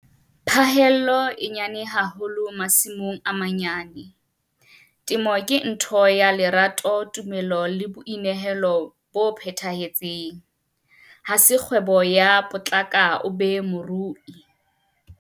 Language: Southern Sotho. Phaello e nyane haholo masimong a manyane. Temo ke ntho ya lerato, tumelo le boinehelo bo phethahetseng - Ha se kgwebo ya "potlaka, o be morui".